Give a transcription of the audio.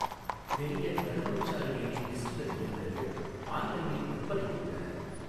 பெரிய நறுமணச்சாறு எண்ணெய் டிஸ்டில்லர் இயந்திரங்கள் ஆன்லைனில் விற்பனைக்கு உள்ளன.